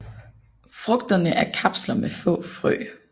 Frugterne er kapsler med få frø